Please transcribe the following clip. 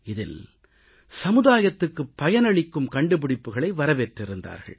இதில் சமுதாயத்துக்கு பயனளிக்கும் கண்டுபிடிப்புக்களை வரவேற்றிருந்தார்கள்